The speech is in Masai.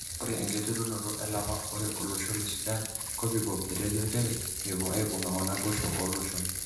Ore enkiterunoto elapa ore olosho le Sudan kopikop etejo njere mepwo aibunga wonaboisho oloshon.